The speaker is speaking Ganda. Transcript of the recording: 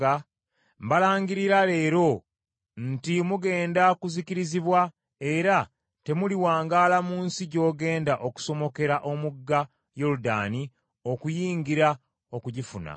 mbalangirira leero nti, Mugenda kuzikirizibwa; era temuliwangaala mu nsi gy’ogenda okusomokera omugga Yoludaani okugiyingira okugifuna.